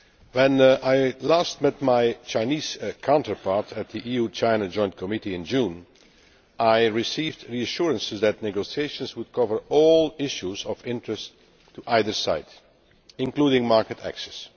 When I last met my Chinese counterpart at the EU China Joint Committee in June, I received reassurances that negotiations would cover all issues of interest to either side, including market access.